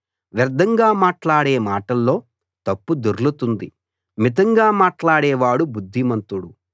వ్యర్థంగా మాట్లాడే మాటల్లో తప్పు దొర్లుతుంది మితంగా మాట్లాడేవాడు బుద్ధిమంతుడు